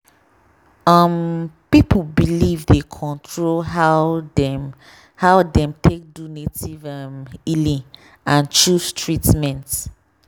um people belief dey control how dem how dem take do native um healing and choose treatment.